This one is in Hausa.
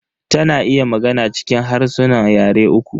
Ta na iya magana cikin harsunan yare uku.